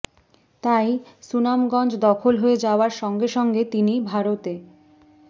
তাই সুনামগঞ্জ দখল হয়ে যাওয়ার সঙ্গে সঙ্গে তিনি ভারতে